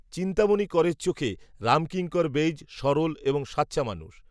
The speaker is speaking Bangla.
চিন্তামণি করের চোখে, রামকিঙ্কর বেইজ, সরল, এবং, সাচ্চা মানুষ